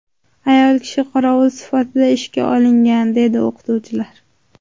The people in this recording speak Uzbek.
Ayol kishi qorovul sifatida ishga olingan, deydi o‘qituvchilar.